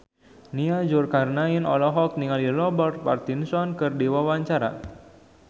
Nia Zulkarnaen olohok ningali Robert Pattinson keur diwawancara